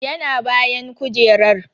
Yana bayan kujerar.